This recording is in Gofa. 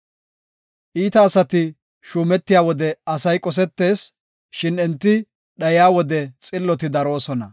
Iita asati shuumetiya wode asay qosetees; shin enti dhayiya wode xilloti daroosona.